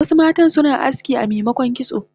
Wasu matan suna aski amemokon kitso